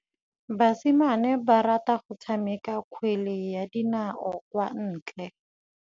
Basimane ba rata go tshameka kgwele ya dinaô kwa ntle.